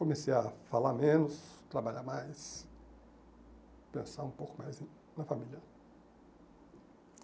Comecei a falar menos, trabalhar mais, pensar um pouco mais na família.